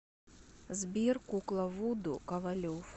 сбер кукла вуду ковалев